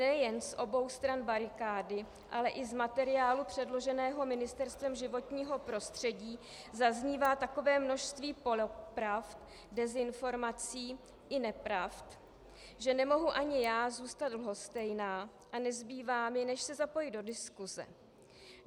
Nejen z obou stran barikády, ale i z materiálu předloženého Ministerstvem životního prostředí zaznívá takové množství polopravd, dezinformací i nepravd, že nemohu ani já zůstat lhostejná a nezbývá mi než se zapojit do diskuse.